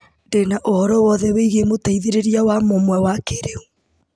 Ndĩna ũhoro wothe wĩgiĩ mũteithĩrĩria wa mũmwe wa kĩrĩu.